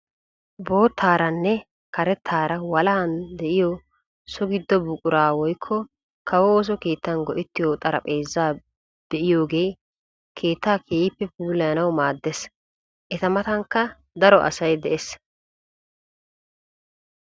Boottaaranne karettaara walahan de'iyo so giddo buquraa woykko kawo ooso keettan go"ettiyo xarapheezaa be'iyoogee keettaa keehippe puulayanawu maaddees. eta matankka daro asay de'ees.